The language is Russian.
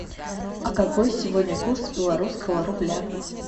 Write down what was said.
а какой сегодня курс белорусского рубля